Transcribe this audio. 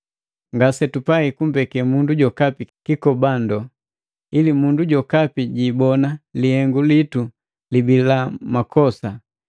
Ngasetupai kumbekee mundu jokapi kikobando, ili mundu jokapi jiibona lihengu litu libii na makosa.